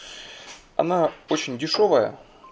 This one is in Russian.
она очень дешёвая